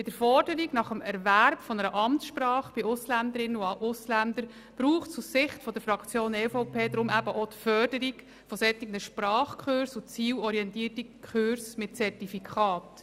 Bei der Forderung an die Ausländerinnen und Ausländer in Bezug auf den Erwerb einer Amtssprache braucht es aus Sicht der EVP auch die Förderung von Sprachkursen mit Zertifikaten.